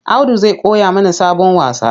Audu zai koya mana sabon wasa.